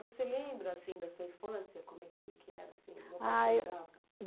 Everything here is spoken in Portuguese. Você lembra, assim, da sua infância? Como é que que era, assim Ah eu